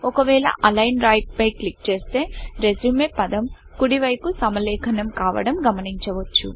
ఒకవేళ అలైన్ రైట్Align రైట్ పై క్లిక్ చేస్తే రెస్యూమెRESUME పదం కుడి వైపు సమలేఖనం కావడం గమనించవచ్చు